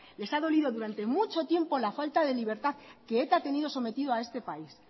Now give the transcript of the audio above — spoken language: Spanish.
les ha dolido durante mucho tiempo la falta de libertad que eta ha tenido sometido a este país